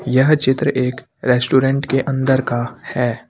यह चित्र एक रेस्टोरेंट के अंदर का है।